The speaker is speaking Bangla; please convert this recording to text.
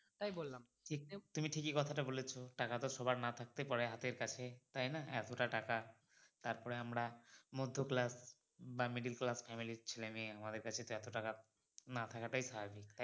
সবার না থাকতেই পারে হাতের কাছে তাই না এতোটা টাকা তারপরে আমরা মধ্য class বা middle class family র ছেলে মেয়ে আমাদের কাছে না থাকা টাই স্বাভাবিক